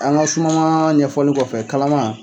An ka sumanma ɲɛfɔlen kɔfɛ kalama.